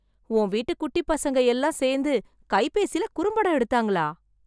உன் வீட்டு குட்டிப் பசங்க எல்லாம் சேர்ந்து, கைபேசில குறும்படம் எடுத்தாங்களா...